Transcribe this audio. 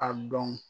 A dɔn